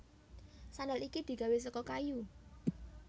Sandal iki digawé saka kayu